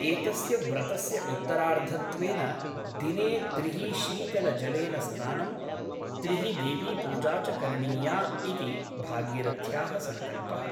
एतस्य व्रतस्य उत्तरार्धत्वेन दिने त्रिः शीतलजलेन स्नानं , त्रिः देवीपूजा च करणीया इति भागीरथ्याः सङ्कल्पः ।